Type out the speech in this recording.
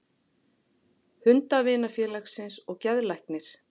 Hundavinafélagsins og geðlæknir.